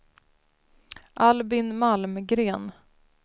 Albin Malmgren